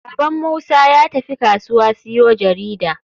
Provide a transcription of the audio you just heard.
Baban musa yatafi kasuwa siyo jarida.